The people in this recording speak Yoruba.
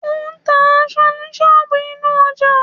Ó ń ta aṣọ ní ṣọ́ọ̀bù inú ọjà.